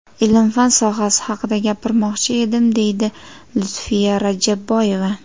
Ilm-fan sohasi haqida gapirmoqchi edim, deydi Lutfiya Rajabboyeva.